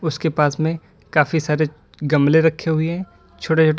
उसके पास मे काफी सारे गमले रखे हुए है छोटे छोटे।